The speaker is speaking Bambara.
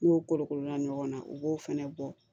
N'o kolokolo na ɲɔgɔn na u b'o fɛnɛ bɔ